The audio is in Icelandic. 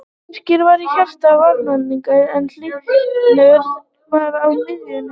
Birkir var í hjarta varnarinnar en Hlynur var á miðjunni.